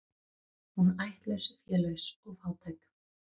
Hún ættlaus, félaus og fátæk.